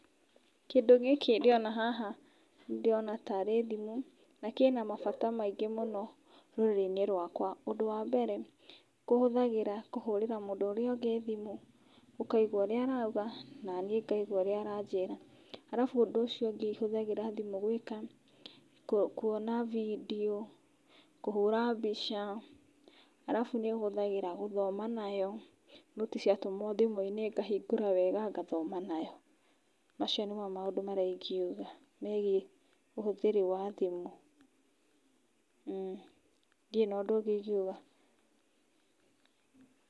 Kĩndũ gĩkĩ ndĩrona haha nĩ ndĩrona tarĩ thimũ na kĩna mabata maingĩ mũno rũrĩrĩ-inĩ rwakwa. Ũndũ wa mbere kũhũthagĩra kũhũrĩra mũndũ ũrĩa ũngĩ thimũ ũkaigwa ũrĩa arauga na niĩ ngaigwa ũrĩa aranjĩra ,arabu ũndũ ũcio ũngĩ hũthagĩra thimũ gwĩka, kũona bindio kũhũra mbica arabu nĩ hũthagĩra gũthoma nayo noti cia tũmwo thimũ-inĩ ngahingũra wega ngathoma nayo, macio nĩmo maũndũ marĩa ingĩuga megiĩ ũhũthĩri wa thimu. Ndire na ũndũ ũngĩ ingĩuga.